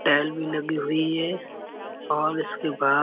tail भी लगी हुई है और इसके बा --